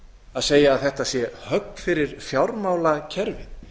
að segja að þetta sé högg fyrir fjármálakerfið